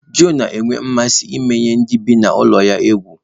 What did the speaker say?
Joe na-enwe mmasị imenye ndị bi na ulo ya egwu